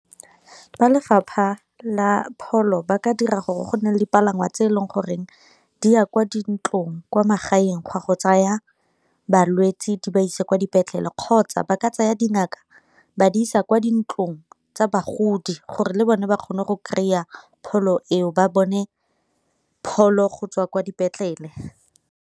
Fa lefapha la pholo ba ka dira gore go nne dipalangwa tse e leng goreng di ya kwa dintlong kwa magaeng ga go tsaya balwetsi di ba isa kwa dipetlele, kgotsa ba ka tsaya dingaka ba di isa kwa dintlong tsa bagodi gore le bone ba kgone go kry-a pholo eo ba bone pholo go tswa kwa dipetlele.